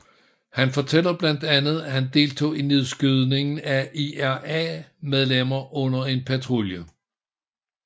Han fortæller blandt andet at han deltog i nedskydningen af IRA medlemmer under en patrulje